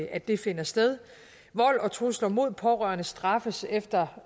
at det finder sted vold og trusler mod pårørende straffes efter